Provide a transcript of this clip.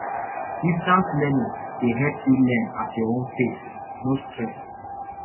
distance learning dey help you learn at your own pace no stress